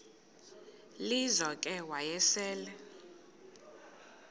lizo ke wayesel